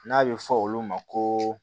N'a bɛ fɔ olu ma ko